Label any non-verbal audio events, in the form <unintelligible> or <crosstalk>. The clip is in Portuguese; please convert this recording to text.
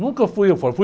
Nunca fui <unintelligible>